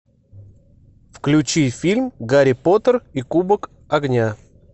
включи фильм гарри поттер и кубок огня